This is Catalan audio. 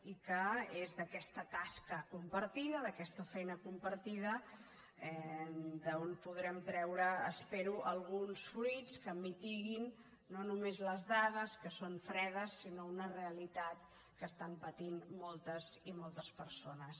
i que és d’aquesta tasca compartida d’aquesta feina compartida d’on podrem treure espero alguns fruits que mitiguin no només les dades que són fredes sinó una realitat que estan patint moltes i moltes persones